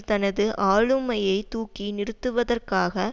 தனது ஆளுமையை தூக்கி நிறுத்துவதற்காக